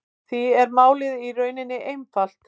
Því er málið í rauninni einfalt